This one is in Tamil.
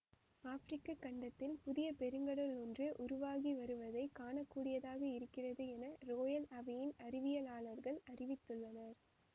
ஆப்பிரிக்கக் கண்டத்தில் புதிய பெருங்கடல் ஒன்று உருவாகிவருவதைக் காண கூடியதாக இருக்கிறது என ரோயல் அவையின் அறிவியலாளர்கள் அறிவித்துள்ளனர்